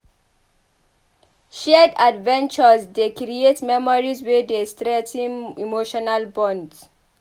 Shared adventures dey create memories wey dey strengthen emotional bonds.